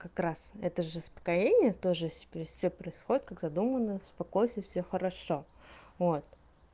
как раз это же успокоение тоже всё происходит как задумано успокойся всё хорошо вот